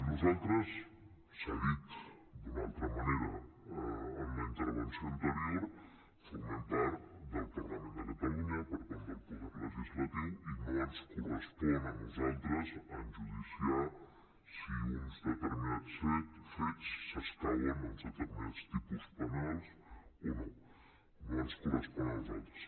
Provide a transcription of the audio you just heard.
nosaltres s’ha dit d’una altra manera en la intervenció anterior formem part del parlament de catalunya per tant del poder legislatiu i no ens correspon a nosaltres enjudiciar si uns determinats fets s’escauen a uns determinats tipus penals o no no ens correspon a nosaltres